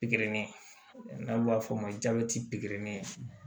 Pikiri n'an b'a f'o ma jabɛti pikiri